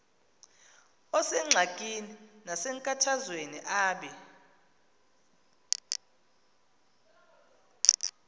osengxakini nasenkathazweni abe